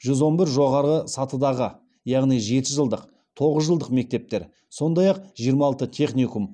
жүз он бір жоғарғы сатыдағы яғни жеті жылдық тоғыз жылдық мектептер сондай ақ жиырма алты техникум